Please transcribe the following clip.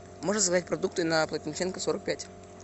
можешь заказать продукты на плотниченко сорок пять